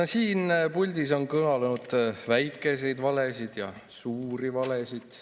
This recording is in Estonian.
Ka siin puldis on kõlanud väikeseid valesid ja suuri valesid.